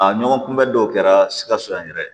A ɲɔgɔn kunbɛ dɔw kɛra sikaso yan yɛrɛ